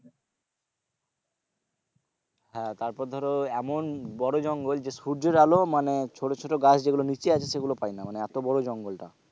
হ্যাঁ তারপর ধরো এমন বড়ো জঙ্গল যে সূর্যের আলো মানে ছোট ছোট গাছ যেগুলো নিচে আছে সেগুলো পায়না মানে এতো বড়ো জঙ্গলটা।